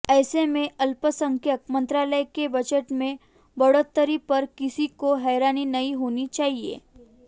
ऐसे में अल्पसंख्यक मंत्रालय के बजट में बढ़ोतरी पर किसी को हैरानी नहीं होनी चाहिए